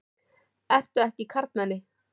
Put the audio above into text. Ertu ekki karlmenni?